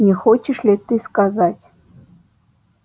не хочешь ли ты сказать